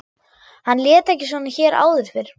Hann lét ekki svona hér áður fyrr.